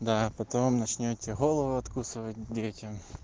да потом начнёте голову откусывать детям